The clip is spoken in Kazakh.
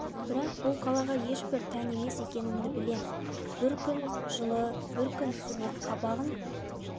бірақ бұл қалаға ешбір тән емес екенімді білемін бір күн жылы бір күн суық қабағын